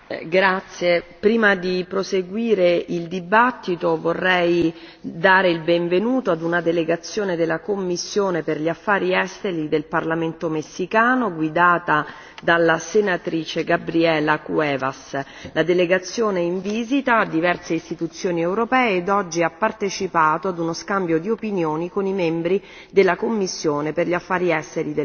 Prima di proseguire la discussione, vorrei dare il benvenuto ad una delegazione della commissione per gli affari esteri del parlamento messicano, guidata dalla senatrice Gabriela Cuevas. La delegazione è in visita a diverse istituzioni europee ed oggi ha partecipato ad uno scambio di opinioni con i membri della commissione per gli affari esteri del Parlamento.